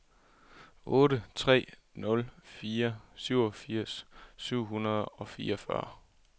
otte tre nul fire syvogfirs syv hundrede og fireogfyrre